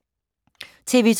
TV 2